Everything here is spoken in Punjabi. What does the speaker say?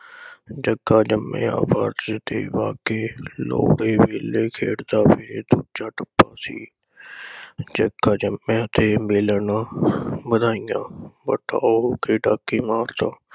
ਜੱਗਾ ਜੰਮਿਆ, ਵੱਟ ਤੇ ਬਾਕੀ, ਲੋਹੜੇ ਵੇਲੇ ਖੇਡਦਾ ਵੇ ਤੂੰ ਜੱਟ ਪਾਸੀ, ਜੱਗਾ ਜੰਮਿਆ ਤੇ ਮਿਲਣ ਵਧਾਈਆਂ।